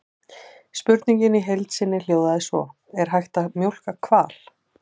Spurningin í heild sinni hljóðaði svo: Er hægt að mjólka hval?